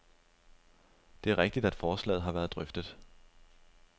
Det er rigtigt, at forslaget har været drøftet.